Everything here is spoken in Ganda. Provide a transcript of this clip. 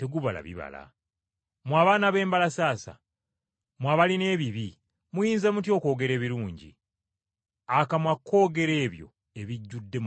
Mmwe abaana b’embalasaasa, mmwe abalina ebibi muyinza mutya okwogera ebirungi? Akamwa koogera ku biba bijjudde mu mutima.